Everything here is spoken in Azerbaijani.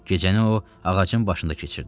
Gecəni o ağacın başında keçirdi.